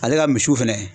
Ale ka misiw fɛnɛ